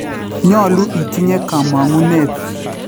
Nyolu itinye komong'uneet